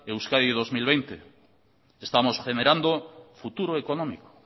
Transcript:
euskadi veinte veinte estamos generando futuro económico